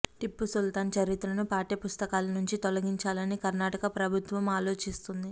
టిప్పు సుల్తాన్ చరిత్రను పాఠ్య పుస్తకాల నుంచి తొలగించాలని కర్ణాటక ప్రభుత్వం ఆలోచిస్తోంది